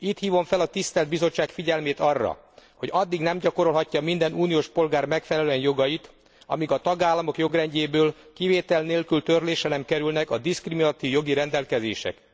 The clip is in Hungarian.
Itt hívom fel a tisztelt Bizottság figyelmét arra, hogy addig nem gyakorolhatja minden uniós polgár megfelelően jogait, amíg a tagállamok jogrendjéből kivétel nélkül törlésre nem kerülnek a diszkriminatív jogi rendelkezések.